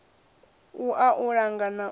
wua u langa na u